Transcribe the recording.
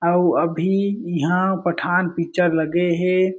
अउ अभी इहाँ पठान पिक्चर लगे हे।